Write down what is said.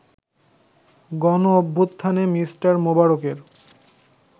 গণঅভ্যুত্থানে Mr. মোবারকের